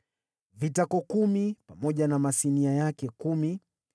vitako kumi pamoja na masinia yake kumi;